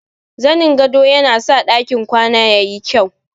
Zanin gado yana sa ɗakin kwana ya yi kyau.